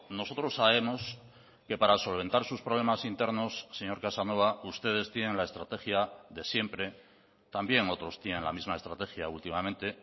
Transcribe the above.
nosotros sabemos que para solventar sus problemas internos señor casanova ustedes tienen la estrategia de siempre también otros tienen la misma estrategia últimamente